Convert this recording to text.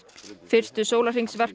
fyrstu